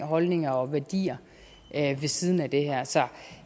holdninger og værdier ved siden af det her så